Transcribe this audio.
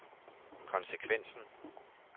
konsekvensen